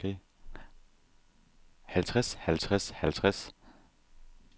halvtreds halvtreds halvtreds